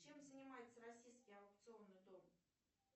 чем занимается российский аукционный дом